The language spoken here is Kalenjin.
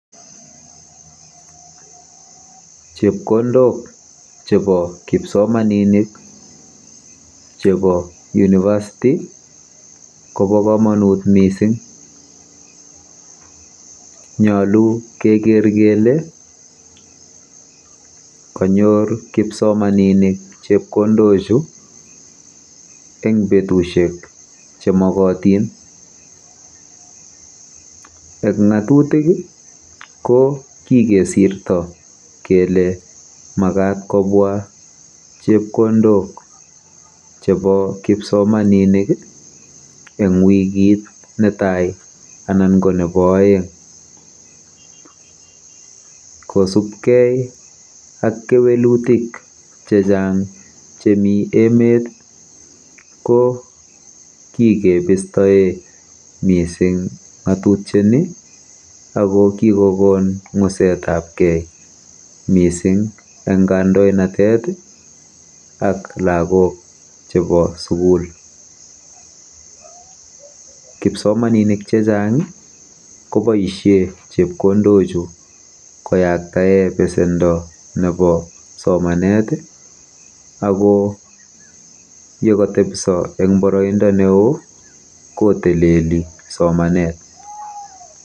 Chepkondok chepo kipsomaninik chepo University ko pa kamanut missing nyalu keker kele kanyor kipsomaninik chepkondochu eng' petushek che makatin. Eng' ng'atutik i ko kikesirto kole makat kopwa chepkondok chepo kipsomani8nik eng' wikit ne tai anan ko nepo aeng'. Kosupgei ak kewelutik che chang' chemi emet i, ko kikepistae missing' ng'atutiani ako kikon ng'uset ap ke missing' eng kandoinatet ak lagok chepo sukul. Kipsomaninik che chang' ko poishe chepkondochu koyaktae pesendo nepo somanet ako ye katepisa eng' paraindo ne oo ko tilili somanet.